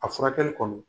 A furakɛli kɔnɔ